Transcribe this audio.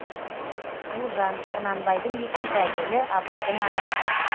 ұлжан құнанбайдың екінші әйелі абайдың анасы